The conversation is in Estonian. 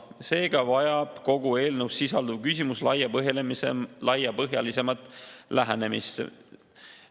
Seega vajab kogu eelnõus sisalduv küsimus laiapõhjalisemat lähenemist.